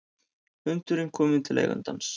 Hundurinn kominn til eigandans